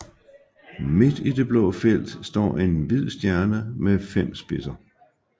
Midt i det blå felt står en hvid stjerne med fem spidser